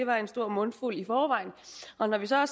var en stor mundfuld og når vi så